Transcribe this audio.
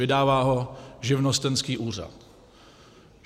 Vydává ho živnostenský úřad.